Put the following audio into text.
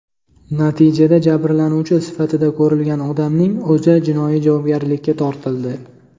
Natijada jabrlanuvchi sifatida ko‘rilgan odamning o‘zi jinoiy javobgarlikka tortildi.